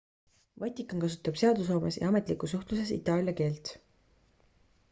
vatikan kasutab seadusloomes ja ametlikus suhtluses itaalia keelt